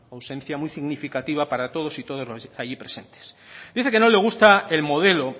ausencia muy significativa para todos y todas los allí presentes dice que no le gusta el modelo